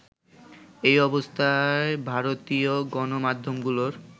এই অবস্থায় ভারতীয় গণমাধ্যমগুলোর